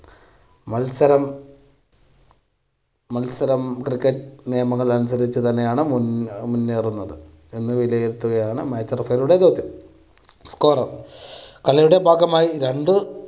മത്സരം മത്സരം cricket നിയമങ്ങൾ അനുസരിച്ച് തന്നെയാണ് മുന്നേ~മുന്നേറുന്നത് എന്ന് വിലയിരുത്തുകയാണ് match referee യുടെ ജോലി. scorer കളിയുടെ ഭാഗമായി രണ്ട്